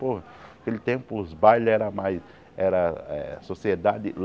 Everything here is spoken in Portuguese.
Pô, naquele tempo os bailes eram mais... era eh Sociedade.